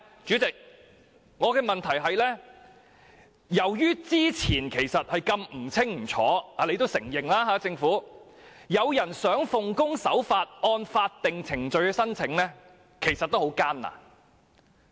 主席，我的補充質詢是，由於之前如此不清不楚——這是政府也承認的——即使有人想奉公守法，按法定程序申請，其實也相當艱難。